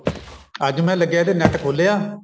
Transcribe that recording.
ਅੱਜ ਮੈਂ ਲੱਗਿਆ ਤੇ NET ਖੋਲਿਆ